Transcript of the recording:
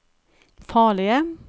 farlige